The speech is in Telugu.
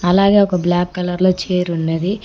అలాగే ఒక బ్లాక్ కలర్ లో చేరున్నది .